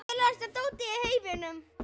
Ég keyri ótrauð